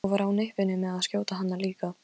Ég var á nippinu með að skjóta hana líka.